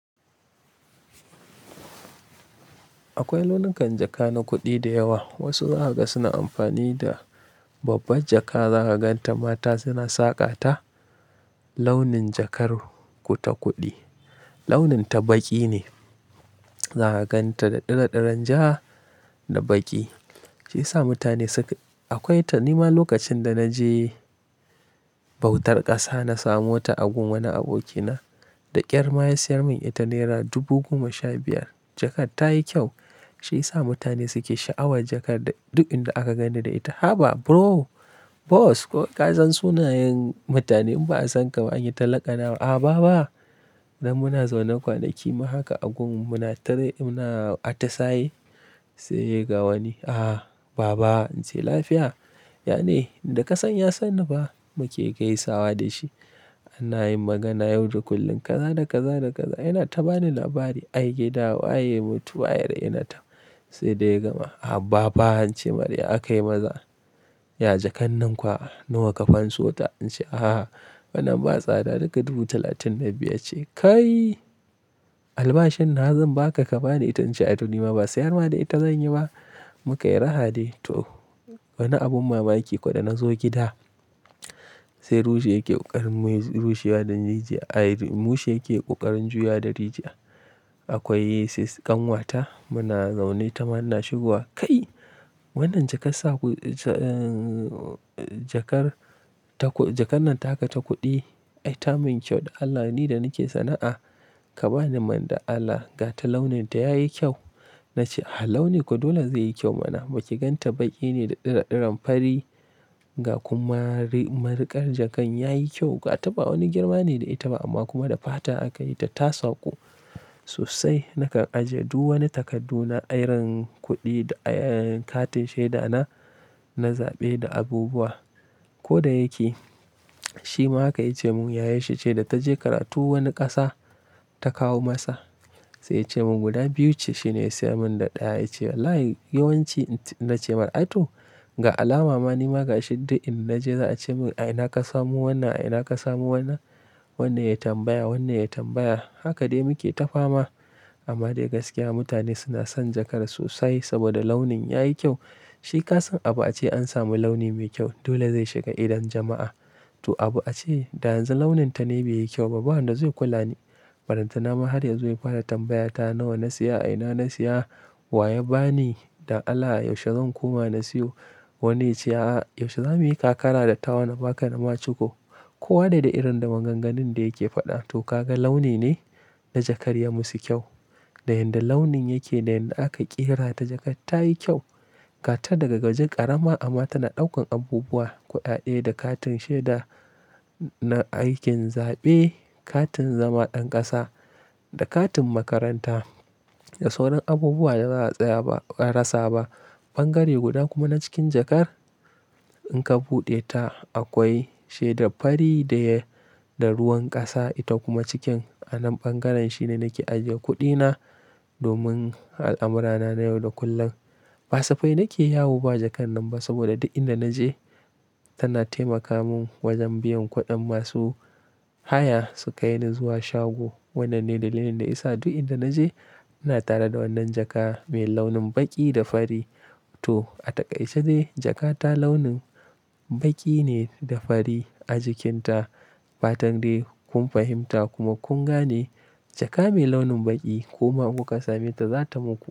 Akwai launukan jaka na kuɗi da yawa. Wasu zakaga suna amfani da babbar jaka. Za ka gan ta mata suna saƙa ta launin jakar ku ta kuɗi. Launinta baƙi ne. Za ka gan ta da daɗaɗɗen ja da baƙi. Shi ya sa mutane suke Akwai ta nima lokacin da na je bautar ƙasa na samo ta a gun wani abokina da ƙyar ma ya siyar mun ita nera dubu goma sha biyar. Jakar ta yi kyau. Shi ya sa mutane suke sha'awar jakar duk inda aka gani da ita. Haba! Bro, Boss! Ko ka san sunayen mutane in ba a san ka ba anyi talakana. A, ba ba. Nan muna zaune kwanaki ma haka a gun muna tare muna atasaye sai ga wani. A, ba ba, in ce lafiya. Yane, da ka san ya sanni fa muke gaisawa da shi. Ana yin magana yau da kullum. Kaza da kaza da kaza yana ta bani labari. Ai gida wa ya mutu, wayar yana ta sai dai gama. A baba, in ce mar ya a kayi maza. Ya jakar nan kuwa nawa ka fanso ta? In ce a, wannan ba tsada daga dubu talatin da biyar ce. Kai! Albashin nawa zan ba ka ka bani ita in ce a tuni ma ba sayarma da ita zan yi ba. Mu ka yi raha de. To, wani abun mamaki to koda na zo gida sai rushe yake ƙoƙarin rushewa ɗan jiji'a. Ai rushe yake ƙoƙarin juya ɗan riji'a. Akwai sis ƙanwata muna zaune ta mana shigowa. Kai! Wannan jakar sa ku, eh, jakar ta ku, jakar nan ta haka ta kuɗi. Ai ta min kyau da Allah ni da nake sana'a. Ka bani man da Allah ga ta launin ta ya yi kyau. Na ce, a, launin ko dole zai yi kyau mana. Ba ki gan ta baƙi ne da daɗaɗɗen fari ga kuma mari, mariƙar jakar ya yi kyau. Ga ta ba wani girma ne da ita ba amma kuma da fata aka yi ta. Ta sauko sosai. Naka ajiye duk wani takardu na irin kuɗi da, eh, katin shaida na, na zaɓe da abubuwa. Ko da yake, shi ma haka ya ce mun yayar shi ce da ta je karatu wani ƙasa ta kawo masa. Sai ya ce mun guda biyu ce shi ne ya siyar mun da ɗaya ya ce. Wallahi yawanci in ce na ce mar'atu. Ga alama ma nima ga shidda in naje za a ce mun ai ina ka samu wannan? Ai ina ka samu wannan? Wannan ya tambaya, wannan ya tambaya. Haka dai muke tafama. Amma dai gaskiya mutane suna son jakar sosai saboda launin ya yi kyau. Shi ka san abu a ce an samu launi mai kyau. Dole zai shiga idon jama'a. To abu a ce da yanzu launin ta ne bai yi kyau ba. Ba wanda zai kula ni. Balantanama har yazo ya fara tambaya ta nawa na siya, a ina na siya wa ya ba ni dan Allah yaushe zan koma na siyo wani ya ce aha, Yaushe za mu yi kakara da tawar na ba ka na ma ciko. Ko wane da irin da maganganun da yake faɗa. To ka ga launi ne na jakar ya musu kyau. Da yadda launin yake da yadda aka ƙera ta jakar ta yi kyau. Ga ta daga gajin ƙarama amma tana ɗaukan abubuwa, kuɗaɗe da katin shaida na aikin zaɓe, katin zama ɗan ƙasa da katin makaranta. Da sauran abubuwa da ba a tsaya ba, a karasa ba. Ɓangare guda kuma na cikin jakar in ka buɗe ta akwai shaida fari da ruwan ƙasa. Ita kuma cikin anan ɓangaren shi ne nake ajiye kuɗina domin al'amurana na yau da kullum. Passapai nake yawo ba jakar nan ba saboda duk inda naje tana taimaka mun wajen biyan kuɗin masu haya su kai ni zuwa shago. Wannan ne dalilin da ya sa duk inda naje ina tare da wannan jaka mai launin baƙi da fari. To, a takaice dai jaka ta launin baƙi ne da fari a jikinta. Fatan dai kun fahimta kuma kun gane jaka mai launin baƙi kuma kuka same ta za ta muku kyau.